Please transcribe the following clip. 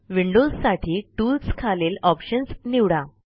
विंडोजसाठी Toolsखालील ऑप्शन्स निवडा